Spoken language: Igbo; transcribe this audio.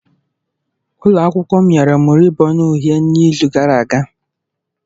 Ụlọ akwụkwọ m nyere m rịbọn uhie n'izu gara aga.